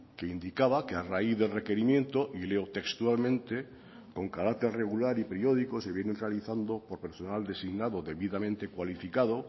que indicaba que a raíz del requerimiento y leo textualmente con carácter regular y periódicos se vienen realizando por personal designado debidamente cualificado